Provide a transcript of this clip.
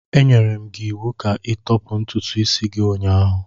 Enyere m gị iwu ka ịtọpụ ntutu isi gị ụnyahụ.